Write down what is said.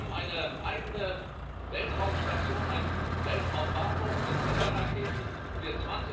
Wir haben eine eigene Weltraumstation, einen Weltraumbahnhof mit Trägerraketen, der